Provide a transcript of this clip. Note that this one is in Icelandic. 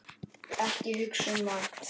Ekki hugsa um mat!